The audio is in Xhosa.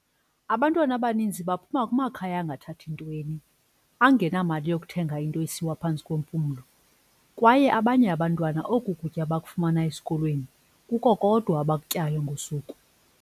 "Abantwana abaninzi baphuma kumakhaya angathathi ntweni, angenamali yokuthenga into esiwa phantsi kwempumlo, kwaye abanye abantwana oku kutya bakufumana esikolweni, kuko kodwa abakutyayo ngosuku."